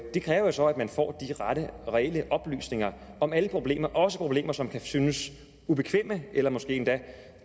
det kræver jo så at man får de rette og reelle oplysninger om alle problemer også problemer som kan synes ubekvemme eller som måske endda